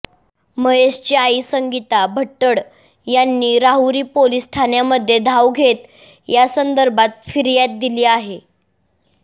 महेशची आई संगीता भट्टड यांनी राहुरी पोलीस ठाण्यामध्ये धाव घेत यासंदर्भात फिर्याद दिली आहे